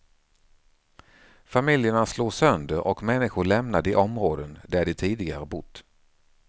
Familjerna slås sönder och människor lämnar de områden där de tidigare bott.